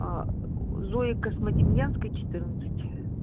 а зои космодемьянской четырнадцать